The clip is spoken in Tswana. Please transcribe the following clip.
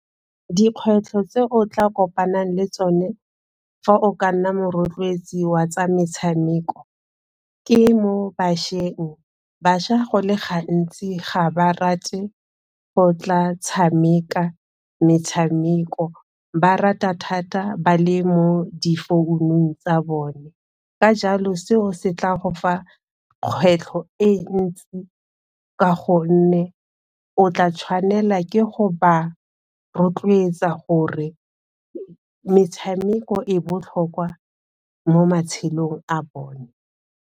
Dikgwetlho tse o tla kopanang le tsone fa o ka nna morotloetsi wa tsa metshameko ke mo bašweng. Bašwa go le gantsi ga ba rate go tla tshameka metshameko, ba rata thata ba le mo difounung tsa bone, ka jalo seo se tla go fa kgwetlho e ntsi ka gonne o tla tshwanela ke go ba rotloetsa gore metshameko e botlhokwa mo matshelong a bone.